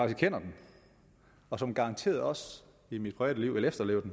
kender dem og som garanteret også i mit privatliv vil efterleve